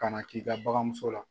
Ka na k'i ka baganso la